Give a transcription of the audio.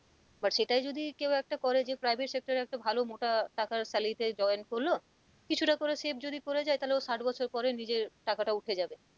But সেটাই যদি কেউ একটা করে যে private sector একটা ভালো মোটা টাকার salary তে join করলো কিছুটা করে save যদি করেযায় তাহলে ওর ষাট বছর পরে নিজের টাকাটা উঠেযাবে।